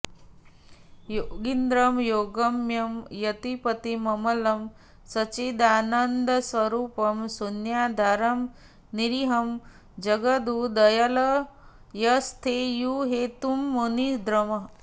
योगीन्द्रं योगगम्यं यतिपतिममलं सच्चिदानन्दरूपं शून्याधारं निरीहं जगदुदयलयस्थैर्यंहेतुं मुनीन्द्रम्